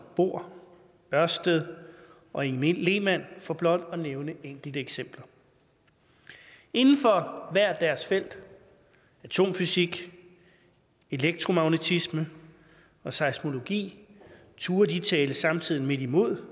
bohr ørsted og inge lehmann for blot at nævne enkelte eksempler inden for hvert deres felt atomfysik elektromagnetisme og seismologi turde de tale samtiden midt imod